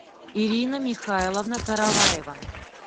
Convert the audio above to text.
ирина михайловна караваева